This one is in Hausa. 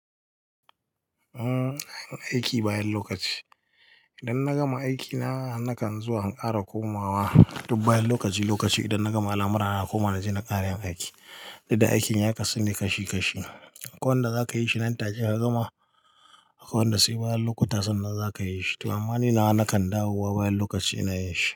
Umm, aiki bayan lokaci. Idan na gama aiki na, nakan zuwa in ƙara komawa duk bayan lokaci-lokaci. Idan na gama al'amura, na koma na je na ƙare yin aiki. Dudda aikin ya kasune kashi-kashi. Akwai wanda za ka yi shi nan take ka gama, akwai wanda sai bayan lokuta sannan za ka yi shi. To amma ni na nakan dawo bayan lokaci ina yin shi.